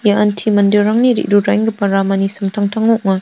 ian manderangni re·ruraenggipa ramani samtangtango ong·a.